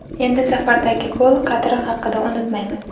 Endi safardagi gol qadri haqida ham unutmaymiz.